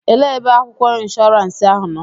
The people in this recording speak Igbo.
Elee ebe akwụkwọ inshọransi ahụ nọ?